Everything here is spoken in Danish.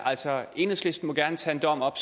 altså enhedslisten må gerne tage en dom op